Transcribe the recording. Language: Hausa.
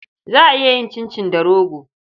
Za a iya yin cincin da rogo.